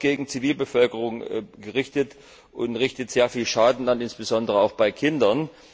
Sie ist oft gegen die Zivilbevölkerung gerichtet und richtet sehr viel Schaden an, insbesondere auch bei Kindern.